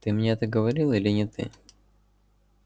ты мне это говорил или не ты